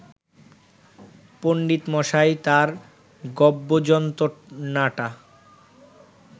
পণ্ডিতমশাই তাঁর গব্বযন্তণাটা